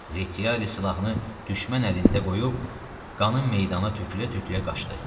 Reçiyari silahını düşmən əlində qoyub qanın meydana tökülə-tökülə qaçdı.